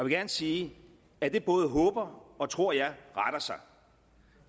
gerne sige at det både håber og tror jeg retter sig